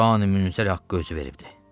Qurani-Münzərə haqqı özü veribdir.